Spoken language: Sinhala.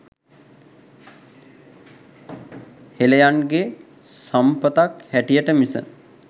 හෙළයන්ගේ සම්පතක් හැටියට මිස